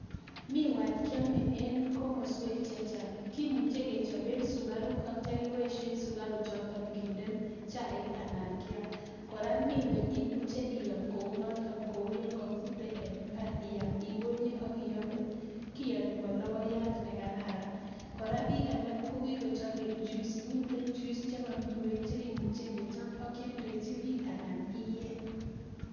Me wat keame Eng komasweek chechang miweeek imuchii iyam Eng imbara mitei (juice ) chebo miwek chekialdachin piik sigopit koeeee